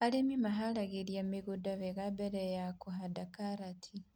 Arĩmi maharagĩrĩria mĩgũnda wega mbere ya kũhanda karati